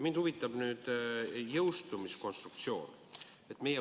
Mind huvitab nüüd jõustumiskonstruktsioon.